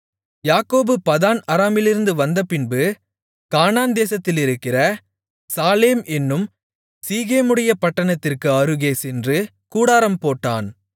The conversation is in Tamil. யாக்கோபு பதான் அராமிலிருந்து வந்தபின் கானான்தேசத்திலிருக்கிற சாலேம் என்னும் சீகேமுடைய பட்டணத்திற்கு அருகே சென்று கூடாரம்போட்டான்